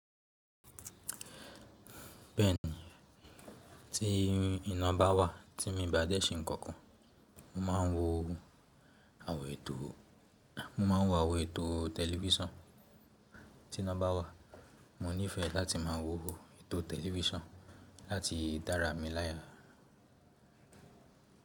Bẹ́ẹ̀ni, tí iná bá wà tí mo bá dẹ́ ṣe ǹkankan, mo máa ń wo àwọ̀n ètò tẹlifísàn. Tí iná bá wà, mo nífẹ̀ẹ́ láti máa wo ètò tẹlifísàn láti dárá mi láya.